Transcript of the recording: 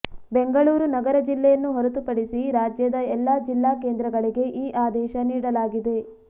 ಬೆಂಗಳೂರು ನಗರ ಜಿಲ್ಲೆಯನ್ನು ಹೊರತುಪಡಿಸಿ ರಾಜ್ಯದ ಎಲ್ಲಾ ಜಿಲ್ಲಾ ಕೇಂದ್ರಗಳಿಗೆ ಈ ಆದೇಶ ನೀಡಲಾಗಿದೆ